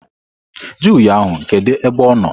Ji ụnyahụ kedu ebe ọ nọ!